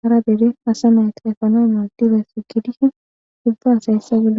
hara dere efana mades.